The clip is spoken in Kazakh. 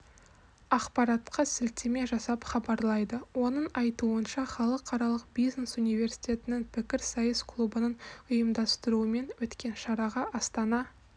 ақпаратқа сілтеме жасап хабарлайды оның айтуынша халықаралық бизнес университетінің пікірсайыс клубының ұйымдастыруымен өткен шараға астана